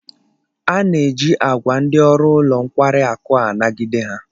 A na-eji agwa ndi oru ulo nkwari akụ a nagide ha